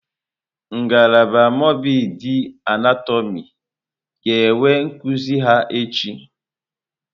Ngalaba mọrbịdị anatọmị ga-enwe nkuzi ha echi.